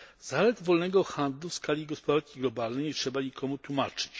Zalet wolnego handlu w skali gospodarki globalnej nie trzeba nikomu tłumaczyć.